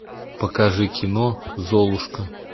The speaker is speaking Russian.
покажи кино золушка